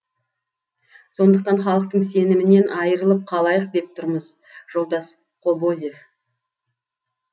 сондықтан халықтың сенімінен айырылып қалайық деп тұрмыз жолдас кобозев